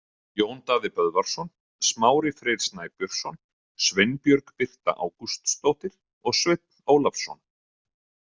Jón Daði Böðvarsson, Smári Freyr Snæbjörnsson, Sveinbjörg Birta Ágústsdóttir og Sveinn Ólafsson.